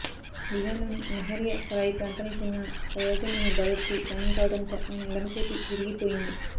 బీహార్లోని లహరీయా సరాయి ప్రాంతానికి చెందిన ఫయాజన్ అనే బాలుడికి గాయం కావడంతో ఆయన ఎడమ చేతి విరిగి పోయింది